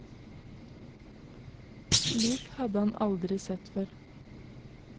Slik hadde han aldri sett før.